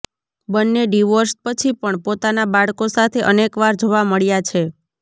બંને ડિવોર્સ પછી પણ પોતાના બાળકો સાથે અનેકવાર જોવા મળ્યા છે